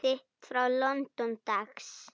Bréf þitt frá London, dags.